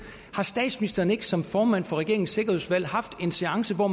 har statsministeren ikke som formand for regeringens sikkerhedsudvalg haft en seance hvor